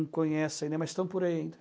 conhecem, né, mas estão por aí ainda.